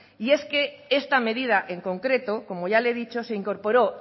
y es que esta medida en concreto como ya le he dicho se incorporó